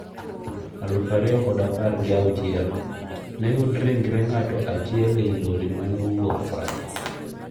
aluf ariyo kod apar gi auchiel: Ne oyudi ringre ng'ato achiel ei lori mane owuok France.